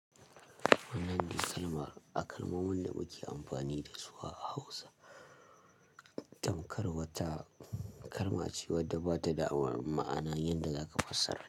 Wannan disalmar, a kalmomin da muke amfani dasu a Hausa, tamkar wata kalma ce wadda ba ta da ma'ana yanda za ka fassara.